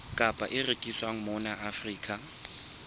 kapa e rekiswang mona afrika